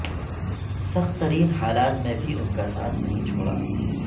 سخت ترین حالات میں بھی ان کا ساتھ نہیں چھوڑا